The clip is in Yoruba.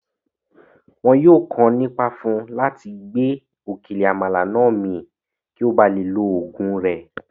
Wọn yìí ó kàn ní Ipá fún láti gbé òkèlè Àmàlà náà min kí ó bá lè lo oògùn rẹ̀